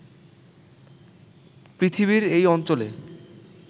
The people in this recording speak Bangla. পৃথিবীর এই অঞ্চলে